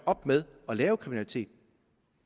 op med at lave kriminalitet